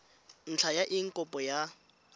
ntlha ya eng kopo ya